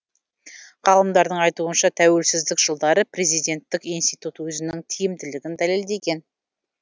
ғалымдардың айтуынша тәуелсіздік жылдары президенттік институт өзінің тиімділігін дәлелдеген